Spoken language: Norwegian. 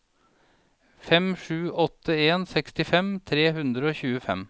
fem sju åtte en sekstifem tre hundre og tjuefem